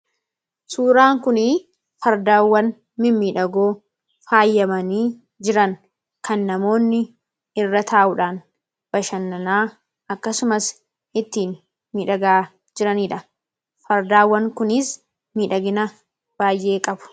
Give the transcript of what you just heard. Suuraan kunii fardaawwan mimmidhagoo faayyamanii jiran kan namoonni irra taa'uudhaan bashannanaa akkasumas ittiin miidhagaa jiraniidha. Fardaawwan kunis miidhagina baay'ee qabu.